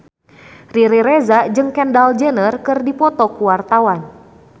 Riri Reza jeung Kendall Jenner keur dipoto ku wartawan